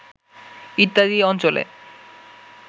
ইত্যাদি অঞ্চলে